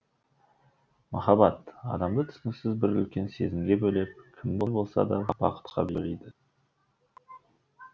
махаббат адамды түсініксіз бір үлкен сезімге бөлеп кімді болса да бақытқа бөлейді